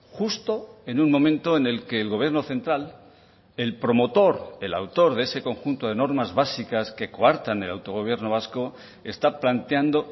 justo en un momento en el que el gobierno central el promotor el autor de ese conjunto de normas básicas que coartan el autogobierno vasco está planteando